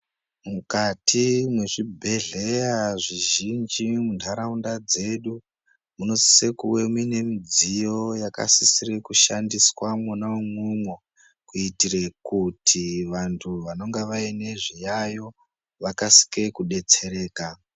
Mukati mezvibhedhlera zvizhinji muntaraunda dzedu munosisa kuva muine midziyo inosisa kushanda imwonamo kuitira kuti vanhu vanonga vaine zviyayo vakasire kubetsereka .